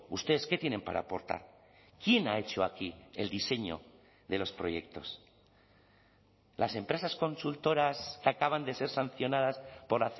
ustedes qué tienen para aportar quién ha hecho aquí el diseño de los proyectos las empresas consultoras que acaban de ser sancionadas por